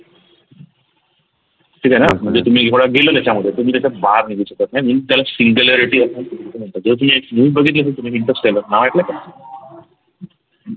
ठीक आहे ना म्हणजे तुम्ही एवढ त्याच्यामध्ये तुम्ही त्याच्यात बाहेर निघू शकत नाही मी त्याला singularity अस अस म्हणतो जो की एक movie बघितली असेल तुम्ही Interstellar नाव ऐकल कधी